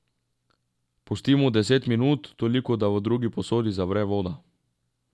Pustimo deset minut, toliko da v drugi posodi zavre voda.